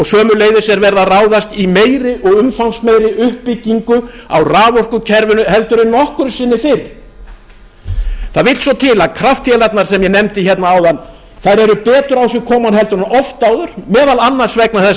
sömuleiðis er verið að ráðast í meiri og umfangsmeiri uppbyggingu á raforkukerfinu en nokkru sinni fyrr það vill svo til að kraftvélarnar sem ég nefndi hérna áðan eru betur á sig komnar en oft áður meðal annars vegna þess